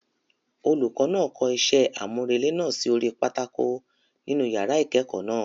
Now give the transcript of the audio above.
Olùkọ náà kọ isẹ́ àmúrelé náà sí orí pátákó nínú yàrá ìkẹ́kọ̀ọ́ náà.